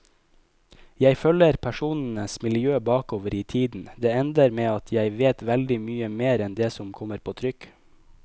Jeg følger personenes miljø bakover i tiden, det ender med at jeg vet veldig mye mer enn det som kommer på trykk.